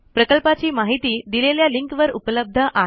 प्रकल्पाची माहिती दिलेल्या लिंकवर उपलब्ध आहे